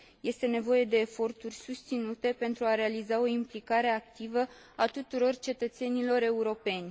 Este nevoie de eforturi susținute pentru a realiza o implicare activă a tuturor cetățenilor europeni.